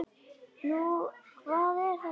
Nú, hvað er þetta þá?